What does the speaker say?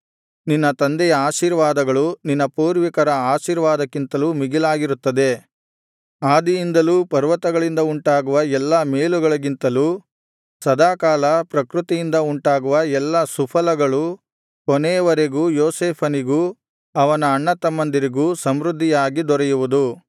ನಿನ್ನ ತಂದೆಯ ಆಶೀರ್ವಾದಗಳು ನಿನ್ನ ಪೂರ್ವಿಕರ ಆಶೀರ್ವಾದಕ್ಕಿಂತಲೂ ಮೀಗಿಲಾಗಿರುತ್ತದೆ ಆದಿಯಿಂದಲೂ ಪರ್ವತಗಳಿಂದ ಉಂಟಾಗುವ ಎಲ್ಲಾ ಮೇಲುಗಳಿಗಿಂತಲೂ ಸದಾಕಾಲ ಪ್ರಕೃತಿಯಿಂದ ಉಂಟಾಗುವ ಎಲ್ಲಾ ಸುಫಲಗಳು ಕೊನೆಯವರೆಗೂ ಯೋಸೇಫನಿಗೂ ಅವನ ಅಣ್ಣತಮ್ಮಂದಿರಿಗೂ ಸಮೃದ್ಧಿಯಾಗಿ ದೊರೆಯುವುದು